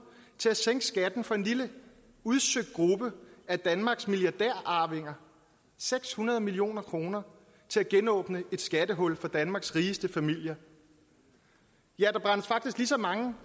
til at sænke skatten for en lille udsøgt gruppe af danmarks milliardærarvinger seks hundrede million kroner til at genåbne et skattehul for danmarks rigeste familier ja der brændes faktisk lige så mange